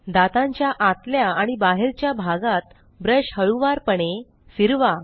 दातांच्या आतल्या आणि बाहेरच्या भागात ब्रश हळूवारपणे फिरवा